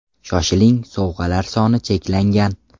Shoshiling sovg‘alar soni cheklangan!